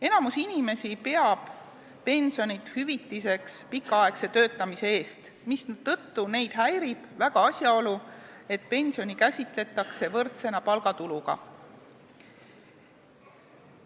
Enamik inimesi peab pensionit hüvitiseks pikaaegse töötamise eest, mistõttu neid häirib väga asjaolu, et pensionit käsitletakse võrdsena palgatuluga.